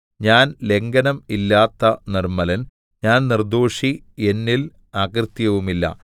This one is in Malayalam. ഞാൻ ലംഘനം ഇല്ലാത്ത നിർമ്മലൻ ഞാൻ നിർദ്ദോഷി എന്നിൽ അകൃത്യവുമില്ല